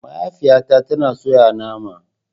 Mahaifiyata tana soya nama.